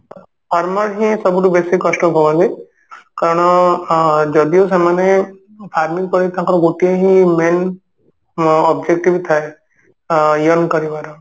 farmer ହିଁ ସବୁଠୁ ବେଶୀ କଷ୍ଟ ଭୋଗନ୍ତି କାରଣ ଅ ଯଦିଓ ସେମାନେ farming ପାଇଁ ତାଙ୍କର ଗୋଟିଏ ହିଁ main objective ଥାଏ ଆ earn କରିବାର